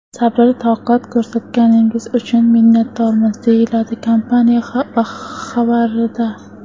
Sabr-toqat ko‘rsatganingiz uchun minnatdormiz”, deyiladi kompaniya xabarida.